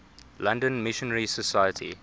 london missionary society